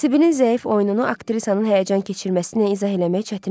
Sibinin zəif oyununu aktrisanın həyəcan keçirməsiylə izah eləmək çətin idi.